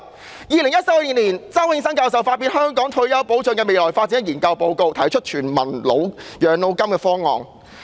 在2014年，周永新教授發表《香港退休保障的未來發展》研究報告，提出全民養老金方案。